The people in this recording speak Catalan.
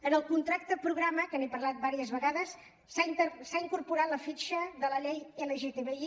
en el contracte programa que n’he parlat diverses vegades s’ha incorporat la fitxa de la llei lgtbi